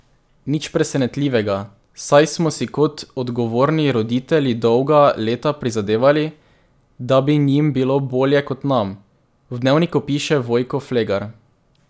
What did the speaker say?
Nič presenetljivega, saj smo si kot odgovorni roditelji dolga leta prizadevali, da bi njim bilo bolje kot nam, v Dnevniku piše Vojko Flegar.